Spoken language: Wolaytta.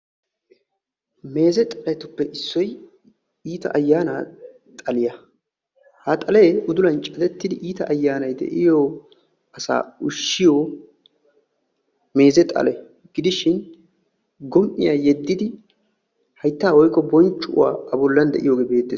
Meeze xaletuppe issoy iita ayaana xaliya. Ha xalee udulan cadetidi iita ayaanay de"yoo asa ushshiyo meeze xale gidishin gom"iya yedidi hayttaa woyko bonccuwa a bollan de"iyoge beettes.